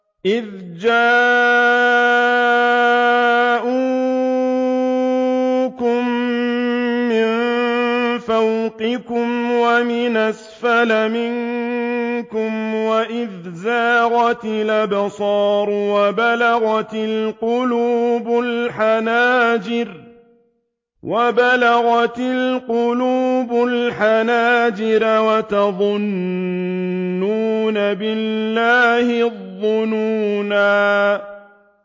إِذْ جَاءُوكُم مِّن فَوْقِكُمْ وَمِنْ أَسْفَلَ مِنكُمْ وَإِذْ زَاغَتِ الْأَبْصَارُ وَبَلَغَتِ الْقُلُوبُ الْحَنَاجِرَ وَتَظُنُّونَ بِاللَّهِ الظُّنُونَا